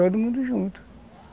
Veio todo mundo junto.